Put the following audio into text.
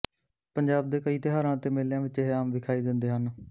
ਪੰਜਾਬ ਦੇ ਕਈ ਤਿਉਹਾਰਾਂ ਅਤੇ ਮੇਲਿਆਂ ਵਿੱਚ ਇਹ ਆਮ ਵਿਖਾਈ ਦਿੰਦੇ ਹਨ